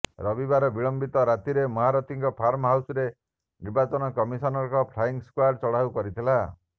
ରବିବାର ବିଳମ୍ବିତ ରାତିରେ ମହାରଥୀଙ୍କ ଫାର୍ମ ହାଉସରେ ନିର୍ବାଚନ କମିଶନଙ୍କ ଫ୍ଲାଇଂ ସ୍କ୍ୱାଡ୍ ଚଢ଼ାଉ କରିଥିଲା